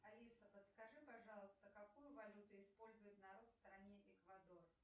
алиса подскажи пожалуйста какую валюту использует народ в стране эквадор